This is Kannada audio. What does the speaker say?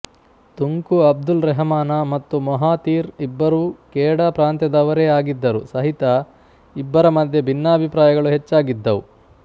ತುಂಕು ಅಬ್ದುಲ್ ರೆಹಮಾನ ಮತ್ತು ಮೊಹಾತೀರ್ ಇಬ್ಬರೂ ಕೇಡಾ ಪ್ರಾಂತ್ಯದವರೇ ಆಗಿದ್ದರು ಸಹಿತ ಇಬ್ಬರ ಮಧ್ಯೆ ಭಿನ್ನಾಭಿಪ್ರಾಯಗಳು ಹೆಚ್ಚಾಗಿದ್ದವು